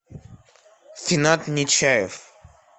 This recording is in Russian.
финат нечаев